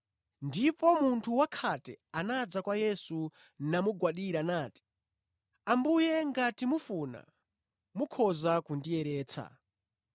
Ndipo munthu wakhate anadza kwa Yesu namugwadira nati, “Ambuye, ngati mufuna, mukhoza kundiyeretsa.”